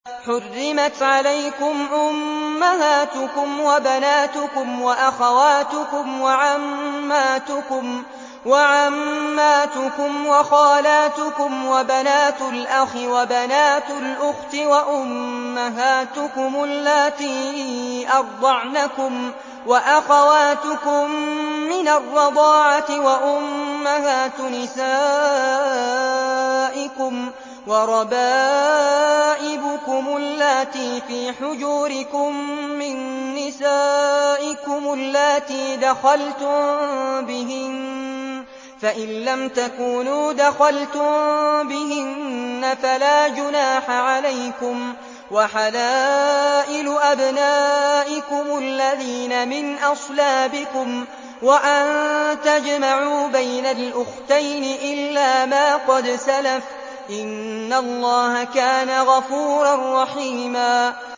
حُرِّمَتْ عَلَيْكُمْ أُمَّهَاتُكُمْ وَبَنَاتُكُمْ وَأَخَوَاتُكُمْ وَعَمَّاتُكُمْ وَخَالَاتُكُمْ وَبَنَاتُ الْأَخِ وَبَنَاتُ الْأُخْتِ وَأُمَّهَاتُكُمُ اللَّاتِي أَرْضَعْنَكُمْ وَأَخَوَاتُكُم مِّنَ الرَّضَاعَةِ وَأُمَّهَاتُ نِسَائِكُمْ وَرَبَائِبُكُمُ اللَّاتِي فِي حُجُورِكُم مِّن نِّسَائِكُمُ اللَّاتِي دَخَلْتُم بِهِنَّ فَإِن لَّمْ تَكُونُوا دَخَلْتُم بِهِنَّ فَلَا جُنَاحَ عَلَيْكُمْ وَحَلَائِلُ أَبْنَائِكُمُ الَّذِينَ مِنْ أَصْلَابِكُمْ وَأَن تَجْمَعُوا بَيْنَ الْأُخْتَيْنِ إِلَّا مَا قَدْ سَلَفَ ۗ إِنَّ اللَّهَ كَانَ غَفُورًا رَّحِيمًا